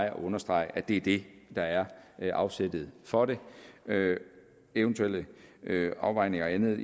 at understrege at det er det der er er afsættet for det eventuelle afvejninger og andet